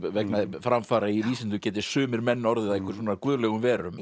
vegna framfara í vísindum geti sumir menn orðið að einhverjum guðlegum verum